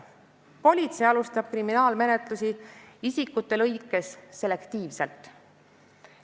Politsei alustab kriminaalmenetlusi isikute vastu selektiivselt.